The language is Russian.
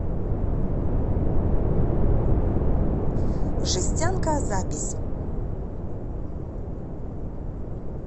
жестянка запись